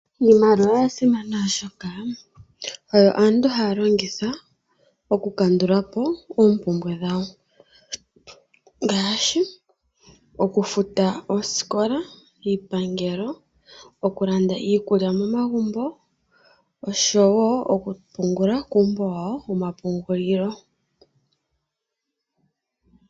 Iimaliwa oya simana oshoka oyo aantu haya longitha okukandulapo oompumbwe dhawo ngaashi okufuta oosikola niipangelo , okulanda iikulya momagumbo oshowoo okupungula kuumbo wawo womapungulilo.